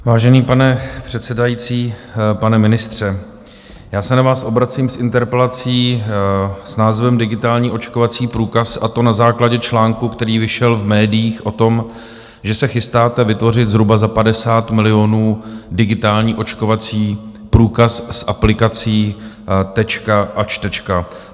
Vážený pane předsedající, pane ministře, já se na vás obracím s interpelací s názvem Digitální očkovací průkaz, a to na základě článku, který vyšel v médiích, o tom, že se chystáte vytvořit zhruba za 50 milionů digitální očkovací průkaz z aplikací Tečka a Čtečka.